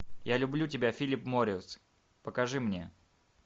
я люблю тебя филлип моррис покажи мне